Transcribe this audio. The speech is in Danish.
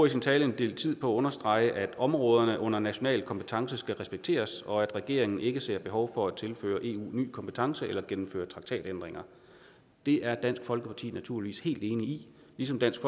i sin tale en del tid på at understrege at områderne under national kompetence skal respekteres og at regeringen ikke ser behov for at tilføre eu nye kompetencer eller gennemføre traktatændringer det er dansk folkeparti naturligvis helt enig i ligesom dansk